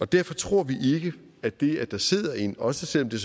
derfor tror vi ikke at det at der sidder en også selv om det